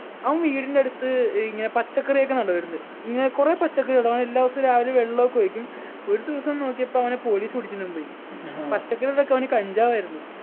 അവൻ വീടിൻ്റെടുത്ത് ഇങ്ങനെ പച്ചക്കറിയൊക്കെ നടവറുണ്ട് ഇങ്ങന കുറേ പച്ചക്കറി നടും അവൻ എല്ലാ ദിവസവും രാവിലെ വെള്ളൊക്കെ ഒഴിക്കും ഒരു ദിവസം നോക്കിയപ്പോ അവനെ police പിടിച്ചോണ്ടും പോയി പച്ചക്കറിടെ ഇടക്കവന് കഞ്ചാവായിരുന്നു